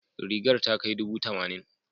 Rigar ta kai dubu tamanin.